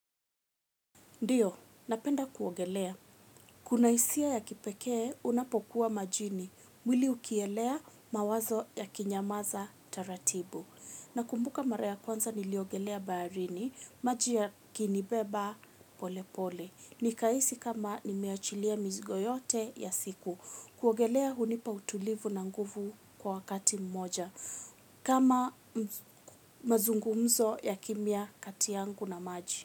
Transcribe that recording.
Ndiyo, napenda kuogelea. Kuna hisia ya kipekee, unapokuwa majini. Mwili ukielea mawazo yakinyamaza taratibu. Nakumbuka mara ya kwanza niliogelea baharini, maji yakinibeba pole pole. Nikahisi kama nimeachilia mizigo yote ya siku. Kuogelea hunipa utulivu na nguvu kwa wakati mmoja. Kama mazungumzo ya kimya kati yangu na maji.